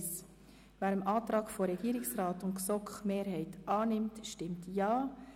Wer den Antrag Regierung und GSoK-Mehrheit annimmt, stimmt Ja.